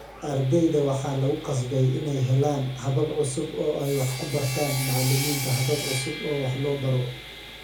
Ardayda waxaa lagu qasbay inay helaan habab cusub oo ay wax ku bartaan, macallimiinta habab cusub oo wax loo baro